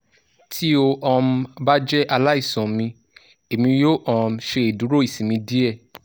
ti o um ba jẹ alaisan mi emi yoo um ṣeduro isinmi diẹ